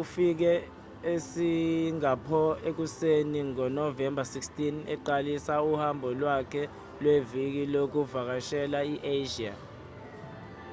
ufike esingapho ekuseni ngonovemba 16 eqalisa uhambo lwakhe lweviki lokuvakashela i-asia